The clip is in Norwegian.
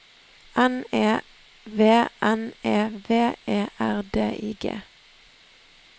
N E V N E V E R D I G